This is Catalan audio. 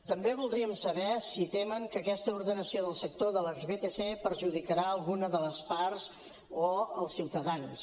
també voldríem saber si temen que aquesta ordenació del sector de les vtc perjudicarà alguna de les parts o els ciutadans